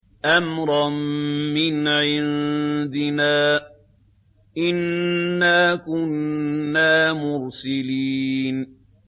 أَمْرًا مِّنْ عِندِنَا ۚ إِنَّا كُنَّا مُرْسِلِينَ